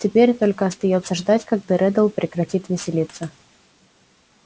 теперь только остаётся ждать когда реддл прекратит веселиться